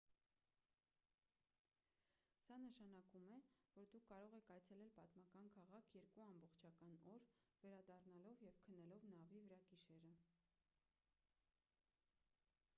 սա նշանակում է որ դուք կարող եք այցելել պատմական քաղաք երկու ամբողջական օր վերադառնալով և քնելով նավի վրա գիշերը